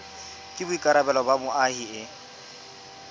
ke boikarabelo ba moahi e